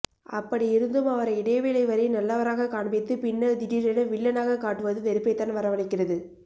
அப்படி இருந்தும் அவரை இடைவேளை வரை நல்லவராக காண்பித்து பின்னர் திடீரென வில்லனாக காட்டுவது வெறுப்பைத்தான் வரவழைக்கிறது